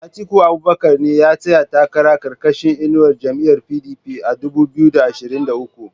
Atiku Abubakar ne ya tsaya takara karkashin inuwar jam'iyar PDP a dubu biyu da ashirin da uku